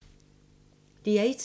DR1